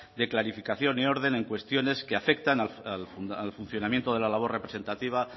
de clarificación y orden en cuestiones que afectan al funcionamiento de la labor representativa